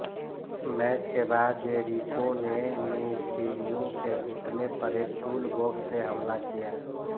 match के बाद Jericho ने मिस्टिरियो के घुटने पर एक टूलबॉक्स से हमला किया